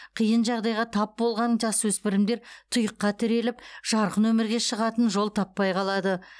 қиын жағдайға тап болған жасөспірімдер тұйыққа тіреліп жарқын өмірге шығатын жол таппай қалады